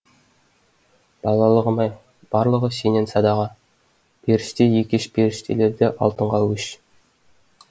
балалығым ай барлығы сеннен садаға періште екеш періштелерде алтынға өш